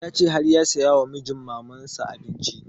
Ya ce har ya saya wa mijin maman sa abinci